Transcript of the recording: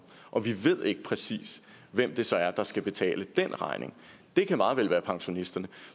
og vi ved ikke præcis hvem det så er der skal betale den regning det kan meget vel være pensionisterne